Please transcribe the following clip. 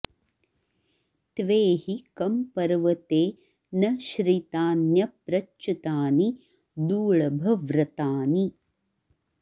त्वे हि कं॒ पर्व॑ते॒ न श्रि॒तान्यप्र॑च्युतानि दूळभ व्र॒तानि॑